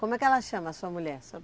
Como é que ela chama a sua mulher?